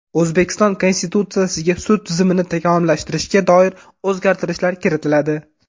O‘zbekiston Konstitutsiyasiga sud tizimini takomillashtirishga doir o‘zgartirishlar kiritiladi.